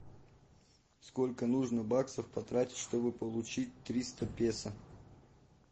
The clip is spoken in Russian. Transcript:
сколько нужно баксов потратить чтобы получить триста песо